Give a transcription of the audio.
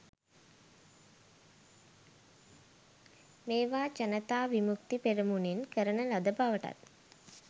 මේවා ජනතා විමුක්ති පෙරමුණෙන් කරන ලද බවටත්